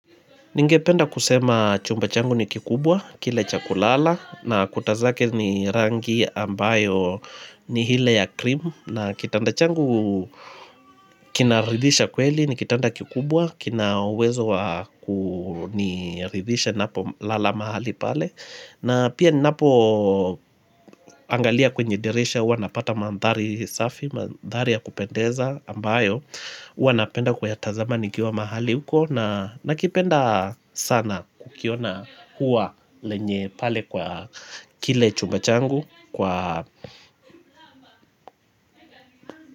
Ningependa kusema chumba changu ni kikubwa, kile cha kulala, na kuta zake ni rangi ambayo ni hile ya krimu, na kitanda changu kina ridhisha kweli ni kitanda kikubwa, kina wezo ni ridhisha ninapo lala mahali pale. Na pia ninapo angalia kwenye dirisha huwa napata mandhari safi, mandhari ya kupendeza ambayo huwa napenda ku ya tazamani nikiwa mahali huko na nakipenda sana kukiona uwa lenye pale kwa kile chumba changu kwa.